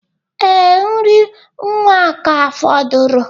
Ee, nri nwa ka fọdụrụ.